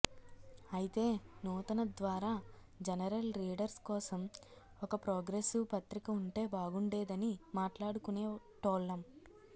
అయితే నూతన ద్వారా జనరల్ రీడర్స్ కోసం ఒక ప్రోగ్రెసివ్ పత్రిక ఉంటే బాగుండేదని మాట్లాడుకునేటోల్లం